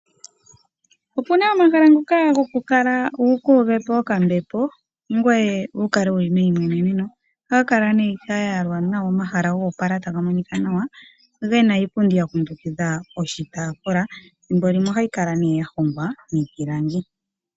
Opu na omahala ngoka gokukala wukuuvepo okambepo ngoye wu kale meimweneneno ohaga kala ga yalwa nawa, omahala goopala taga monika nawa ge na iipundi ya kundukidha oshitafula ethimbo limwe ohayi kala ya hongwa miipilangi.